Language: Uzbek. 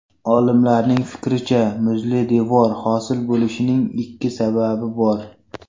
Olimlarning fikricha, muzli devor hosil bo‘lishining ikki sababi bor.